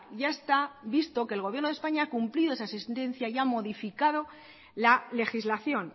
ya está visto que el gobierno de españa ha cumplido esa sentencia y ha modificado la legislación